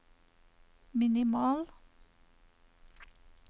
minimal